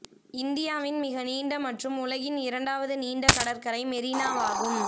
இந்தியாவின் மிக நீண்ட மற்றும் உலகின் இரண்டாவது நீண்ட கடற்கரை மெரினாவாகும்